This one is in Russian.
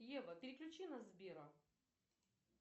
ева переключи на сбера